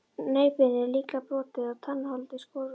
Nefbeinið líklega brotið og tannholdið skorið og tætt.